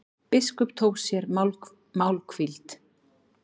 Biskup tók sér málhvíld.